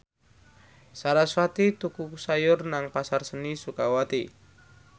sarasvati tuku sayur nang Pasar Seni Sukawati